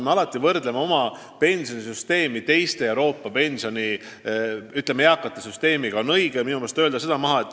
Me ikka võrdleme oma pensionisüsteemi teiste Euroopa riikide omadega.